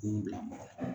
Denw bila mɔgɔ la